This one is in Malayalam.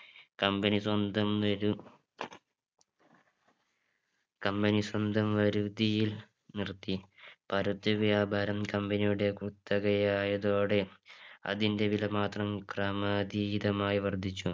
Company സ്വന്തം വരൂ Company സ്വന്തം വരുതിയിൽ നിർത്തി പരുത്തി വ്യാപാരം Company യുടെ കുത്തകയായതോടെ അതിന്റെ വില മാത്രം ക്രമാതീദമായി വർധിച്ചു